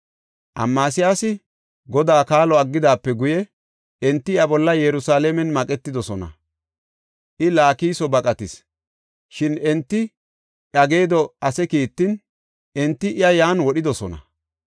Amasiyaasi Godaa kaalo aggidaape guye enti iya bolla Yerusalaamen maqetidosona. I Laakiso baqatis. Shin enti iya geedo ase kiittin enti iya yan wodhidosona.